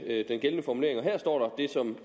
den gældende formulering og her står det som